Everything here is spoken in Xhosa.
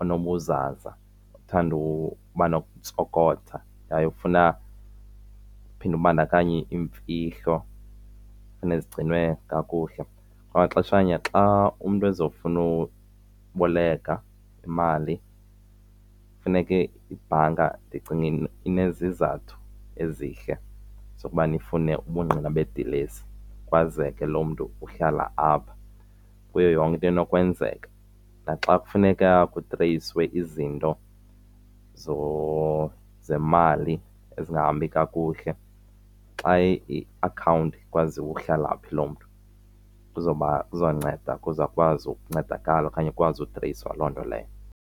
onobuzaza othanda uba nokuntsokotha yaye ofuna uphinde ubandakanye iimfihlo funeke zigcinwe kakuhle. Kwangaxeshanye xa umntu ezofuna uboleka imali funeke ibhanka ndicinga izizathu ezihle zokuba ifune ubungqina bedilesi kwazeke loo mntu uhlala apha kuyo yonke into enokwenzeka. Naxa kufuneka kutreyiswe izinto zemali ezingahambi kakuhle xa iakhawunti kwaziwa uhlala phi loo mntu kuzonceda ukuze akwazi ukuncedakala okanye ukwazi utreyiswa loo nto leyo.